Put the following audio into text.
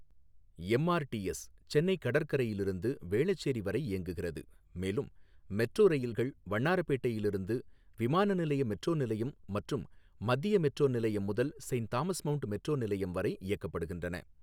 MRTS Chennai கடற்கரையிலிருந்து வேளச்சேரி வரை இயங்குகிறது மேலும் மெட்ரோ ரயில்கள் வண்ணாரப்பேட்டையிலிருந்து விமான நிலைய மெட்ரோ நிலையம் மற்றும் மத்திய மெட்ரோ நிலையம் முதல் செயின்ட் தாமஸ் மவுண்ட் மெட்ரோ நிலையம் வரை இயக்கப்படுகின்றன.